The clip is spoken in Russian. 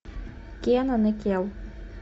кенан и кел